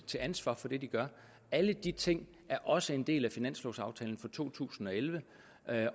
til ansvar for det de gør alle de ting er også en del af finanslovaftalen for to tusind og elleve